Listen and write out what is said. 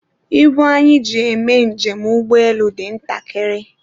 ibu anyị ji eme njem ụgbọelu dị ntakịrị